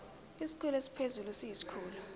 isikhulu esiphezulu siyisikhulu